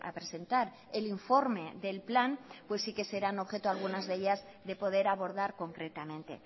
presentar el informe del plan pues sí que serán objeto algunas de ellas de poder abordar concretamente